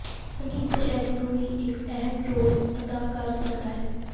ਸੰਗੀਤ ਦੇ ਸ਼ੈਲੀ ਨੂੰ ਵੀ ਇੱਕ ਅਹਿਮ ਰੋਲ ਅਦਾ ਕਰ ਸਕਦਾ ਹੈ